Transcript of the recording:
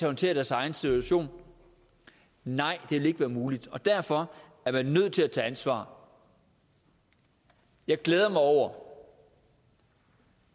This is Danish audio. håndtere deres egen situation nej det vil ikke være muligt og derfor er man nødt til at tage ansvar jeg glæder mig over